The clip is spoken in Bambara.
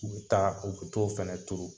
U be taa, u be t'o fɛnɛ turu.